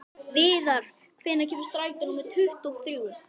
Viðar, hvenær kemur strætó númer tuttugu og þrjú?